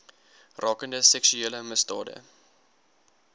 rakende seksuele misdade